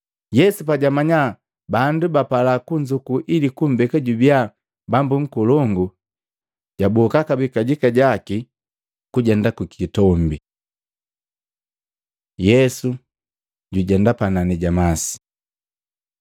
Yesu pajamanya bandu bapala kunzuku ili kumbeka jubiya bambu nkolongu, jaboka kabee kajika jaki kujenda ku kitombi. Yesu jujenda panani ja masi Matei 14:22-33; Maluko 6:45-52